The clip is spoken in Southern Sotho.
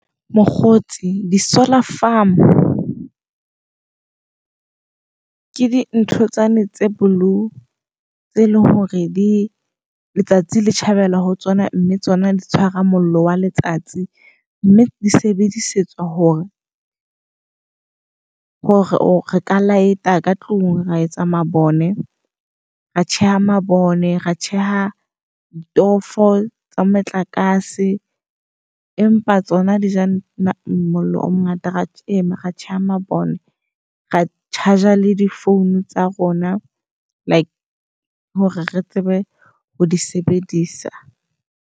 Mokgotsi di-solar farm ke dintho tsane tse blue tse leng hore di letsatsi le tjhabela ho tsona, mme tsona di tshwara mollo wa letsatsi. Mme di sebedisetswa hore hore re ka light-a ka tlung, ra etsa mabone, ra tjheha mabone, ra tjheha ditofo tsa motlakase. Empa tsona dija na mollo o mongata. Ra ra tjheha mabone, ra-charger le di phone tsa rona. Like hore re tsebe ho di sebedisa.